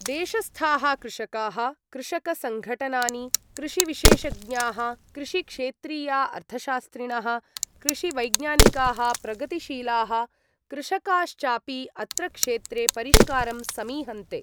देशस्थाः कृषकाः, कृषकसङ्घटनानि, कृषिविशेषज्ञाः, कृषिक्षेत्रीया अर्थशास्त्रिणः, कृषिवैज्ञानिकाः, प्रगतिशीलाः कृषकाश्चापि अत्र क्षेत्रे परिष्कारं समीहन्ते।